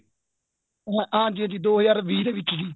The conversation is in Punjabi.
ਹਾਂਜੀ ਹਾਂਜੀ ਦੋ ਹਜਾਰ ਵੀਹ ਦੇ ਵਿੱਚ